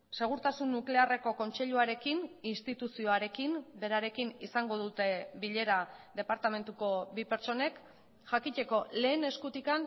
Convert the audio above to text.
segurtasun nuklearreko kontseiluarekin instituzioarekin berarekin izango dute bilera departamentuko bi pertsonek jakiteko lehen eskutik